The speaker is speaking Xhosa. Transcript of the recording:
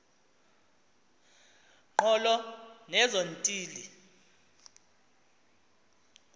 ngqolo nezo ntili